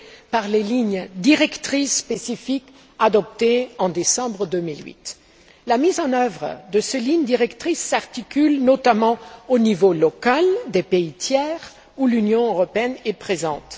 par les lignes directrices spécifiques adoptées en décembre 2008. La mise en œuvre de ces lignes directrices s'articule notamment au niveau local, dans les pays tiers où l'Union européenne est présente.